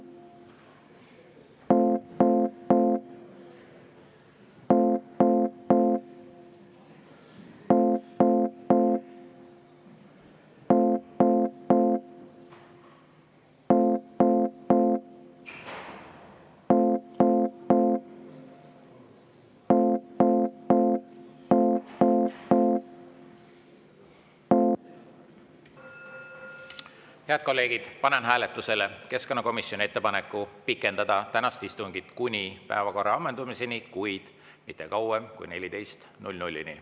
Head kolleegid, panen hääletusele keskkonnakomisjoni ettepaneku pikendada tänast istungit kuni päevakorra ammendumiseni, kuid mitte kauem kui kella 14-ni.